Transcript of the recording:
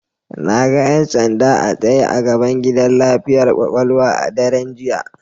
Na ga 'yan sanda a tsaye a gaban gidan lafiyar kwakwalwa a daren jiya.